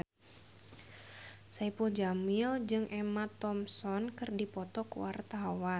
Saipul Jamil jeung Emma Thompson keur dipoto ku wartawan